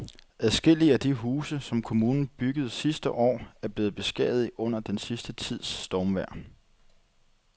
Adskillige af de huse, som kommunen byggede sidste år, er blevet beskadiget under den sidste tids stormvejr.